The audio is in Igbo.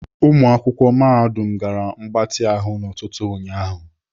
Ụmụakwụkwọ mahadum gara mgbatị ahụ n'ụtụtụ ụnyaahụ.